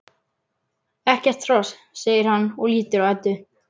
Ekkert hross, segir hann og lítur á Eddu.